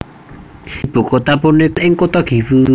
Ibu kota punika mapan ing kutha Gifu